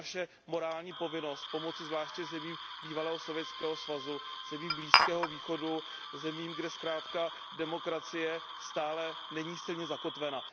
Je to naše morální povinnost, pomoci zvláště zemím bývalého Sovětského svazu, zemím Blízkého východu, zemím, kde zkrátka demokracie stále není silně zakotvena.